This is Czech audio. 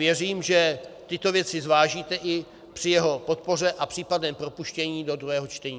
Věřím, že tyto věci zvážíte i při jeho podpoře a případném propuštění do druhého čtení.